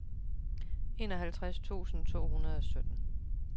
enoghalvtreds tusind to hundrede og sytten